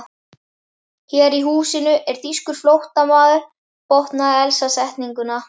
Hér í húsinu er þýskur flóttamaður botnaði Elsa setninguna.